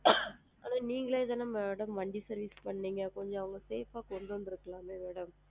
Madam நீங்களே தான mam வண்டி service பண்ணுனிங்க கொஞ்சம் அத safe ஆ கொண்டு வந்திருக்கலாமே madam